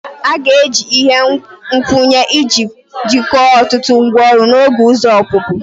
A ga-eji ihe nkwụnye iji jikọọ ọtụtụ ngwaọrụ na otu ụzọ ọpụpụ